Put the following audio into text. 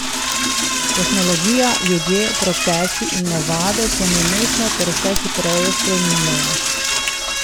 Tehnologija, ljudje, procesi in navade se nenehno ter vse hitreje spreminjajo.